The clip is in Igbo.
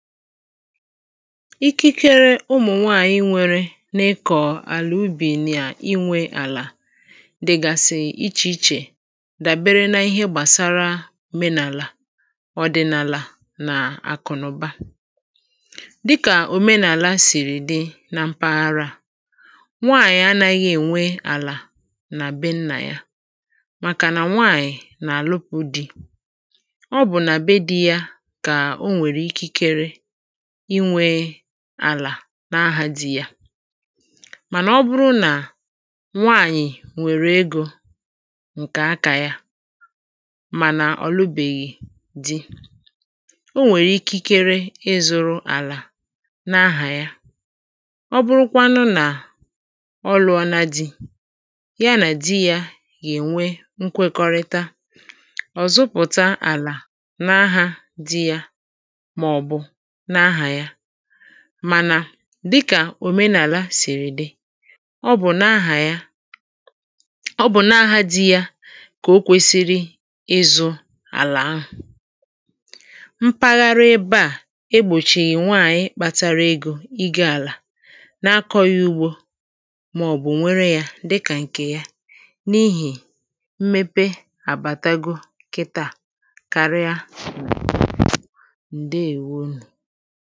ikikere ụmụ̀ nwaànyị nwērē n’ịkọ̀ àla ùbi nà iwē àlà dị̀gàsị̀ ichè ichè dàbere n’ihe gàbasara òmenàlà ọ̀ dị̀ n’àlà nà àkụ̀ nà ụ̀ba dịkà òmenàla sị̀rị̀ dị na mpahara nwaànyị̀ anāghị̄ èwe àlà nà bee nnà ya màkànà nwaànyị̀ nà-àlụpụ̄ dì ọ bụ̀ nà bee dī yā kà o nwèrè ikikere iwē àlà n’ahā dì yà mànà ọ bụrụ nà nwaànyị̀ nwèrè egō ǹkè akā yā mànà ọ̀ lụbèghì di o nwèrè ikikere ịzụ̄rụ̄ àlà n’ahà ya ọ bụrụkwanụ nà ọ lụ̄ọ̄nā dì ya nà di yā gà-ènwe nkwekọrịta ọ̀ zụpụ̀ta àlà n’ahā dì yà màọ̀bụ̀ n’ahà ya mànà dịkà òmenàla sị̀rị̀ dị ọ bụ̀ n’ahà ya ọ bụ̀ n’ahā dì yà kà o kwēsīsrī ịzụ̄ àlà ahụ̀ mpagharị ebe à egbòchị̀yị̀ nwaànyi kpātārā ēgò igō àlà na-akọ̄ yà ugbō màọ̀bụ̀ nwere yā dịkà ǹkè ya n’ihì mmepe àbàtago kịtà karịa ǹdeèwo nù